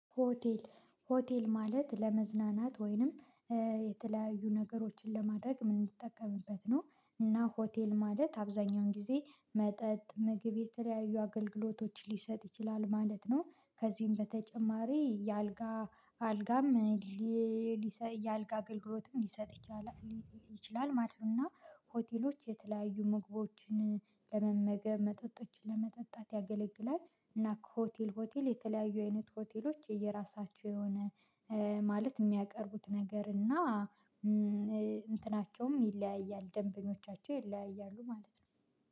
ሆቴል ሆቴል ማለት ለመዝናናት ወይንም የተለያዩ ነገሮችን ለማድረግ ምን እንድትጠቀምበት ነው? እና ሆቴል ማለት አብዛኛውን ጊዜ መጠጥ ምግብ የተለያዩ አገልግሎቶች ሊሰጥ ይችላል ማለት ነው። ከዚህም በተጨማሪ የአልጋ አልጋም የአልጋ አገልግሎትም ሊሰጥ ይችላል ማለት ነው። እና ሆቴሎች የተለያዩ ምግቦችን ለመመገብ መጠጦችን ለመጠጣት ያገለግላል። እና ከሆቴል ሆቴል የተለያዩ አይነት ሆቴሎች የየራሳቸው የሆነ ማለት የሚያቀርቡት ነገር እና እንትናቸውም ይለያያል ደንበኞቻቸው ይለያያሉ ማለት ነው።